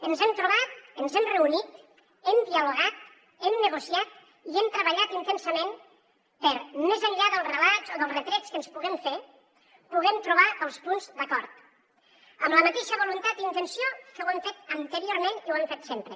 ens hem trobat ens hem reunit hem dialogat hem negociat i hem treballat intensament perquè més enllà dels relats o dels retrets que ens puguem fer puguem trobar els punts d’acord amb la mateixa voluntat i intenció que ho hem fet anteriorment i ho hem fet sempre